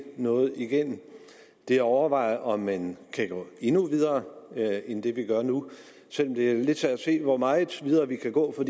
noget igennem det er at overveje om man kan gå endnu videre end det vi gør nu selv om det er lidt svært at se hvor meget videre vi kan gå for